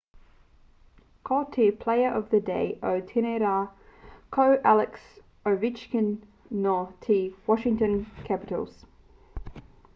ko te player of the day o tēnei rā ko alex ovechkin nō te washington capitals